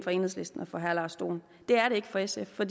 for enhedslisten og for herre lars dohn det er det ikke for sf for